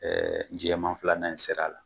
jɛman fila in sera a la.